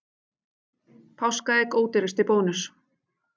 Páskaegg ódýrust í Bónus